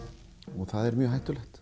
og það er mjög hættulegt